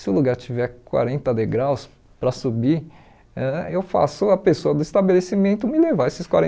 Se o lugar tiver quarenta degraus para subir, ãh eu faço a pessoa do estabelecimento me levar esses